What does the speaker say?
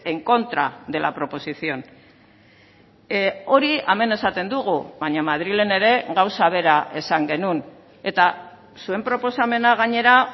en contra de la proposición hori hemen esaten dugu baina madrilen ere gauza bera esan genuen eta zuen proposamena gainera